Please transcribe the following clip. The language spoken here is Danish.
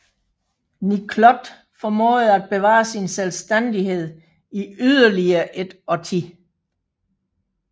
Niklot formåede at bevare sin selvstændighed i yderligere et årti